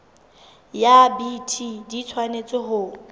ya bt di tshwanetse ho